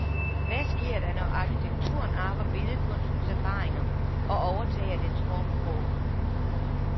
Hvad sker der, når arkitekturen arver billedkunstens erfaringer og overtager dens formsprog?